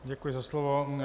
Děkuji za slovo.